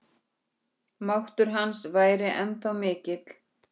Nú byrjaði að rigna.